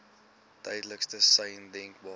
duidelikste sein denkbaar